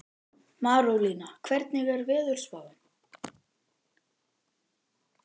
Marólína, hvernig er veðurspáin?